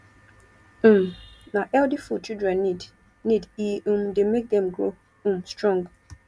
um na healthy food children need need e um dey make dem grow um strong